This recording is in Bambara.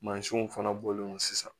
Mansinw fana bɔlen don sisan